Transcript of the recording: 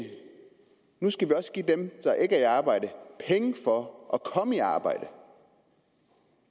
nu skal man også give dem der ikke er i arbejde penge for at komme i arbejde